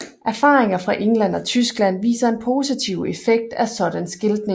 Erfaringer fra England og Tyskland viser en positiv effekt af sådan skiltning